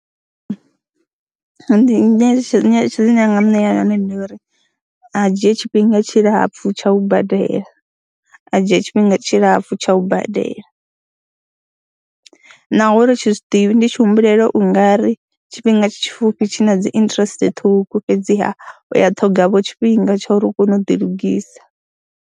Ndi nyeletshedzo, nyeletshedzo ine ndi nga mu ṋea yone ndi ya uri a dzhie tshifhinga tshilapfhu tsha u badela, a dzhia tshifhinga tshilapfhu tsha u badela naho ri tshi zwi ḓivha, ndi tshi humbulela u nga ri tshifhinga tshipfhufhi tshi na dzi interest ṱhukhu fhedziha u ya ṱhogavho tshifhinga tsha uri u kone u ḓilugisa.